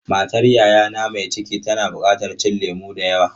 Matar yayana mai ciki tana buƙatar cin lemu da yawa.